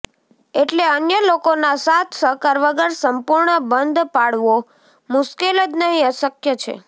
એટલે અન્ય લોકોના સાથ સહકાર વગર સંપૂર્ણ બંધ પાળવો મુશ્કેલ જ નહીં અશક્ય છે